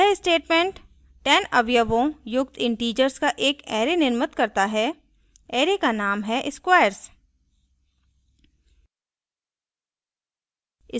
यह statement 10 अवयवों युक्त इन्टीजर्स का एक array निर्मित करता है array का name हैsquares